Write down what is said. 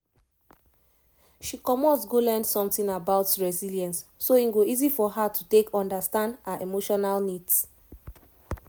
she commot go learn something about resilience so e go easy for her take understand her emotional needs